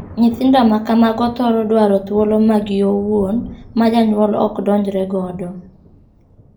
Nyithindo ma kamago thoro dwaro thuolo maggi owuon ma janyuol ok donjre godo.